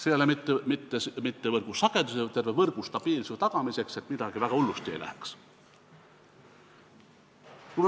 See ei ole vajalik mitte võrgusageduse, vaid terve võrgu stabiilsuse tagamiseks, et midagi väga hullusti ei läheks.